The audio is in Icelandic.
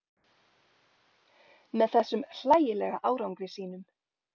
Með þessum hlægilega árangri sínum.